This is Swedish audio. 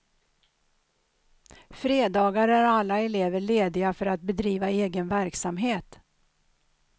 Fredagar är alla elever lediga för att bedriva egen verksamhet.